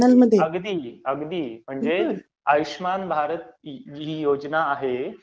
अगदी अगदी, म्हणजे आयुष्यमान भारत ही योजना आहे